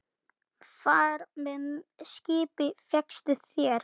Far með skipi fékkstu þér.